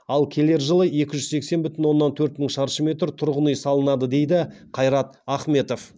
ал келер жылы екі жүз сексен бүтін оннан төрт мың шаршы метр тұрғын үй салынады дейді қайрат ахметов